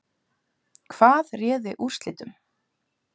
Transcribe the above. Hvað réði úrslitum?